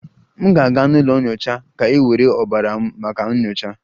M ga-aga n'ụlọ nyocha ka e were ọbara m maka nyocha